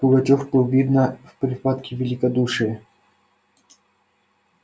пугачёв был видно в припадке великодушия